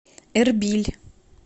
эрбиль